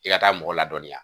I ka taa mɔgɔ ladɔnniya